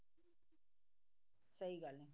ਸਹੀ ਗੱਲ ਹੈ